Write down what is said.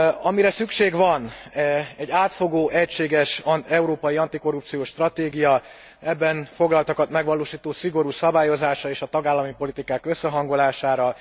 Amire szükség van egy átfogó, egységes európai antikorrupciós stratégiára, az ebben foglaltakat megvalósító szigorú szabályozásra és a tagállami politikák összehangolására.